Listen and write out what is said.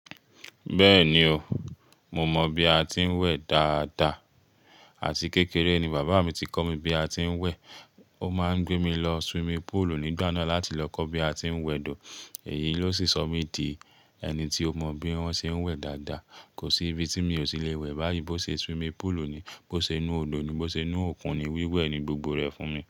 Bẹ́ẹ̀ni o, mo mọ bi a ti ń wẹ̀ dáadáa àti kékeré ni bàbá mi ti kọ́ mi bí a ti ń wẹ̀. Ó máa ń gbé mi lọ swimming pool nígbà náà láti lọ kọ́ bí a ti ń wẹ̀ do. Èyí ló sì sọ mí di ẹni tí ó mọ bí wọ́n ṣe ń wẹ̀ dáadáa. Kò sí ibi tí mi ò ti lè wẹ̀ báyìí bó ṣe swimming pool ni, bó ṣe inú òdo ni, bó ṣe inú òkun ni, wíwẹ̀ ni gbogbo rẹ̀ fún mi.